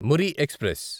Marri express